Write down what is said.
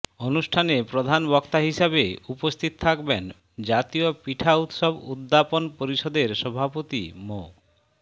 অনুষ্ঠানে প্রধান বক্তা হিসেবে উপস্থিত থাকবেন জাতীয় পিঠা উৎসব উদ্যাপন পরিষদের সভাপতি ম